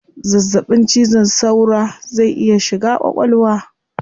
Zazzabin cizon saura zai iya shiga kwakwalwa